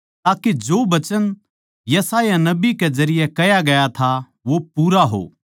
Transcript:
ताके जो वचन यशायाह नबी कै जरिये कह्या गया था वो पूरा हो